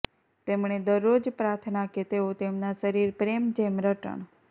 તેમણે દરરોજ પ્રાર્થના કે તેઓ તેમના શરીર પ્રેમ જેમ રટણ